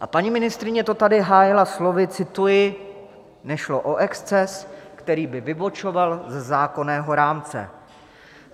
A paní ministryně to tady hájila slovy, cituji: "Nešlo o exces, který by vybočoval ze zákonného rámce."